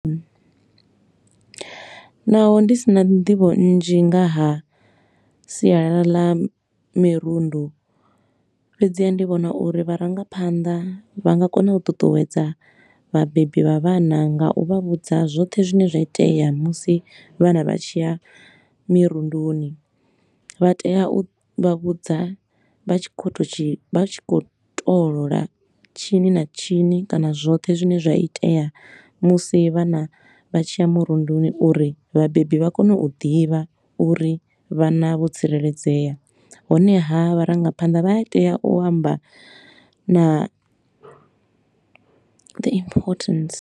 Naho ndi si na nḓivho nnzhi nga ha sialala ḽa mirundu, fhedziha ndi vhona uri vharangaphaṋda vha nga kona u ṱuṱuwedza vhabebi vha vhana nga u vha vhudza zwoṱhe zwine zwa itea musi vhana vha tshi ya mirunduni. Vha tea u vha vhudza vha tshi khou tou tshi vha tshi khou toolola tshini na tshini kana zwoṱhe zwine zwa itea musi vhana vha tshi ya murunduni uri vhabebi vha kone u ḓivha uri vhana vho tsireledzea. Honeha vharangaphanḓa vha a tea u amba na the importance.